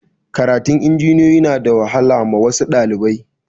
Karatun injiniyoyi na da wahala ma wasu ɗalibai